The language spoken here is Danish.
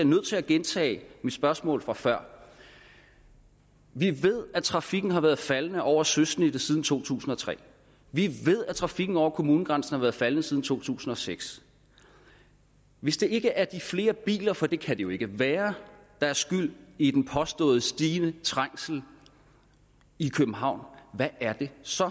nødt til at gentage mit spørgsmål fra før vi ved at trafikken har været faldende over søsnittet siden to tusind og tre vi ved at trafikken over kommunegrænserne har været faldende siden to tusind og seks hvis det ikke er de flere biler for det kan det jo ikke være der er skyld i den påståede stigende trængsel i københavn hvad er det så